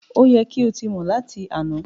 o yẹ kí o tí mọ lati àna!